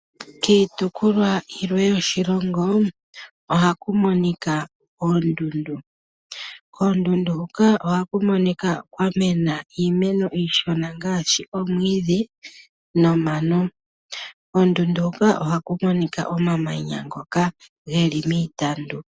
Kiitukulwa yilwe yoshilongo ohaku monika oondundu. Koondundu huka ohaku monika kwa mena iimeno iishona ngaashi omwiidhi nomano. Koondundu huka ohaku monika omamanya ngoka geli miitandu.